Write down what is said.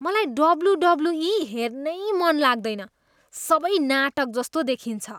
मलाई डब्ल्युडब्ल्युई हेर्नै मन लाग्दैन, सबै नाटकजस्तो देखिन्छ।